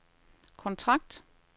kontrakt